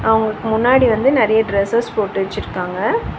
அவங்களுக்கு முன்னாடி வந்து நெறைய டிரஸ்ஸஸ் போட்டு வெச்சிருக்காங்க.